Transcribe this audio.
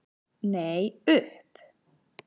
Nei, upp.